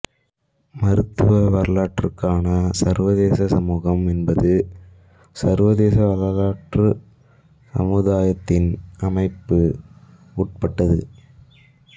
மருத்துவ வரலாற்றுக்கான சர்வதேச சமூகம் என்பது சர்வதேச வரலாற்றுச் சமுதாயத்தின் அமைப்பு உட்பட்டது